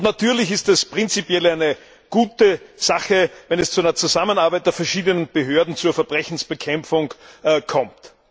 Natürlich ist es prinzipiell eine gute Sache, wenn es zu einer Zusammenarbeit der verschiedenen Behörden bei der Verbrechensbekämpfung kommt.